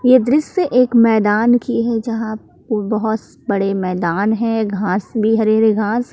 ये दृश्य एक मैदान की है जहां बहुत बड़े मैदान है घास भी हरी हरी घास--